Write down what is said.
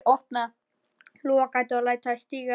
Ég opna lúgugatið og læt stigann síga.